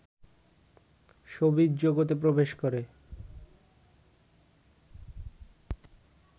showbiz জগতে প্রবেশ করে